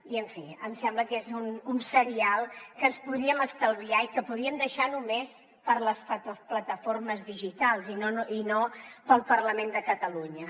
i en fi em sembla que és un serial que ens podríem estalviar i que podríem deixar només per a les plataformes digitals i no per al parlament de catalunya